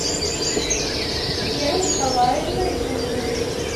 вера николаевна зимина